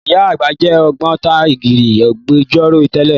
Ìyá àgbà jẹ́ Ògbóntarìgì Agbẹjọ́rò tẹ́lẹ̀